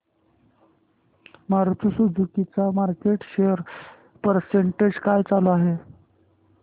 Maruti Suzuki चा market share percentage काय चालू आहे